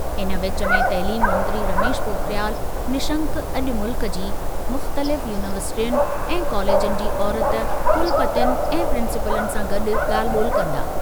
इन विचु में तइलीम मंत्री रमेश पोखरियाल निशंक अॼु मुल्क जी मुख़्तलिफ़ यूनिवर्सिटियुनि ऐं कॉलेजनि जी औरति कुलपतियुनि ऐं प्रिंसिपलनि सां गॾु ॻाल्हि ॿोल्हि कंदा।